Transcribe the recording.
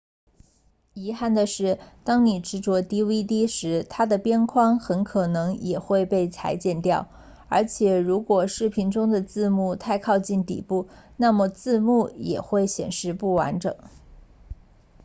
遗憾的是当你制作 dvd 时它的边框很可能也会被裁剪掉而且如果视频中的字幕太靠近底部那么字幕也会显示不完整